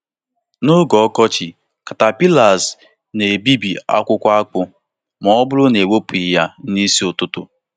N'oge ọkọchị, caterpillars na-ebibi akwụkwọ akpu ma ọ bụrụ na ewepụghị ya n'isi ụtụtụ.